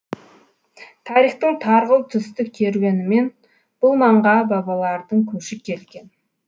тарихтың тарғыл түсті керуенімен бұл маңға бабалардың көші келген